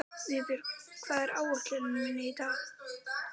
Vébjörg, hvað er á áætluninni minni í dag?